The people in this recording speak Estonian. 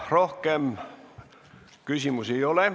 Rohkem küsimusi ei ole.